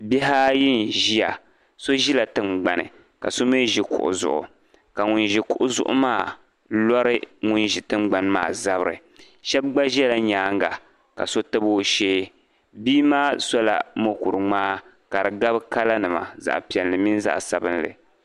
Bihi ayi nʒiya. So ʒi la tingbani ka so mi ʒi kuɣu zuɣu, ka ŋun ʒi kuɣu zuɣu maa lɔri ŋun ʒi tingbani maa zabiri. Shɛb' gba ʒe la nyaanga ka so tab o shee. Bii maa so la mokuru ŋmaa ka di gabi colornima, zaɣa piɛlli min zaɣa sabinli.